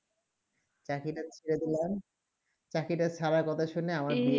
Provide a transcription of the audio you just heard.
চাকরি তা ছেড়ে দিলাম চাকরি তা ছাড়া কথা শুনে